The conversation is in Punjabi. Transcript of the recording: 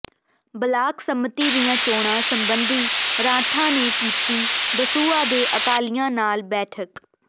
ਬਲਾਕ ਸੰਮਤੀ ਦੀਆਂ ਚੋਣਾਂ ਸਬੰਧੀ ਰਾਠਾਂ ਨੇ ਕੀਤੀ ਦਸੂਹਾ ਦੇ ਅਕਾਲੀਆਂ ਨਾਲ ਬੈਠਕ